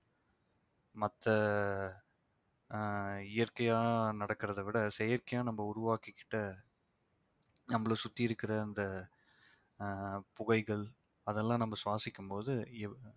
மத்த ஆஹ் இயற்கையா நடக்கிறதை விட செயற்கையா நம்ம உருவாக்கிக்கிட்ட நம்மள சுத்தி இருக்கிற அந்த ஆஹ் புகைகள் அதெல்லாம் நம்ம சுவாசிக்கும்போது